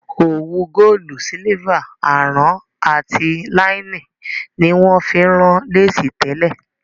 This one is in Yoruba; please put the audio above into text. Òwu Góòlù, sílífà, àrán àti láínì ni wón fi ń rán Léèsì tẹ́lẹ̀